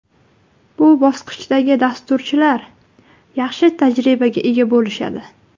Bu bosqichdagi dasturchilar yaxshi tajribaga ega bo‘lishadi.